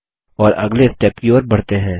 और अगले स्टेप की ओर बढ़ते हैं